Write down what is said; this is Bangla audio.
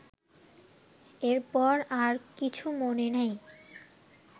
এরপর আর কিছু মনে নাই